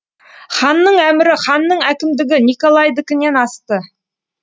ханның әмірі ханның әкімдігі николайдікінен асты